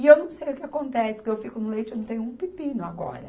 E eu não sei o que acontece, que eu fico no leite, eu não tenho um pepino agora.